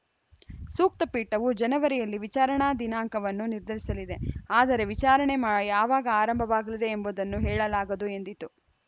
ಸೂಕ್ತ ಪೀಠವು ಜನವರಿಯಲ್ಲಿ ವಿಚಾರಣಾ ದಿನಾಂಕವನ್ನು ನಿರ್ಧರಿಸಲಿದೆ ಆದರೆ ವಿಚಾರಣೆ ಮಾ ಯಾವಾಗ ಆರಂಭವಾಗಲಿದೆ ಎಂಬುದನ್ನು ಹೇಳಲಾಗದು ಎಂದಿತು